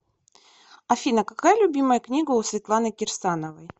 афина какая любимая книга у светланы кирсановой